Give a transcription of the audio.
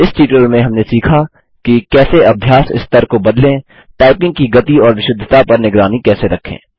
इस ट्यूटोरियल में हमने सीखा कि कैसे अभ्यास स्तर को बदलें टाइपिंग की गति और विशुद्धता पर निगरानी कैसे रखें